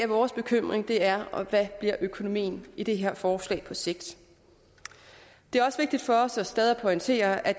vores bekymring er hvad økonomien i det her forslag på sigt det er også vigtigt for os stadig at pointere at